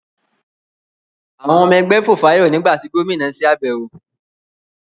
àwọn ọmọ ẹgbẹ́ fòfáyọ̀ nígbà tí Gómìnà se àbẹ̀wọ̀.